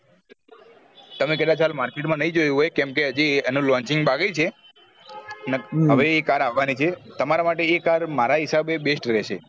તમે કદાચ હાલ market નહિ જોયું હોય કેમ કે હજી એનું launching બાકી છે હવે એ car આવવા ની છે તમારા માટે એ car મારા હિસાબે best રેહશે